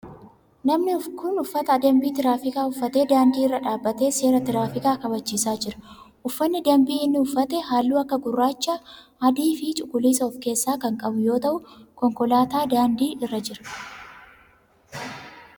Namni kun uffata dambii tiraafikii uffatee daandii irra dhaabbatee seera tiraafikaa kabachiisaa jira. uffanni dambii inni uffate halluu akka gurraacha, adii fi cuquliisa of keessaa kan qabu yoo ta'u konkolaataan daandii irra jira.